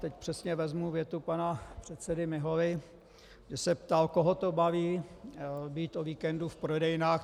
Teď přesně vezmu větu pana předsedy Miholy, kdy se ptal, koho to baví být o víkendu v prodejnách.